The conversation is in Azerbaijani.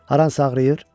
Haransa ağrıyır?